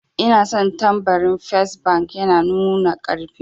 Ina son tambarin fes bank, yana numa karfi